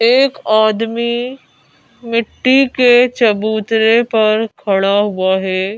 एक आदमी मिट्टी के चबूतरे पर खड़ा हुआ है।